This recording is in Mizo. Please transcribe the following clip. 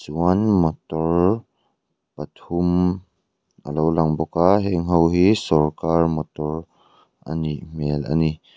chuan motor pathum a lo lang bawk a heng ho hi sawrkar motor a nih hmel a ni.